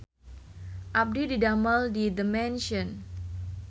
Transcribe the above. Abdi didamel di The Mansion